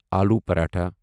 آلو پراٹھا